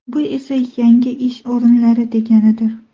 Bu esa, yangi ish o‘rinlari deganidir.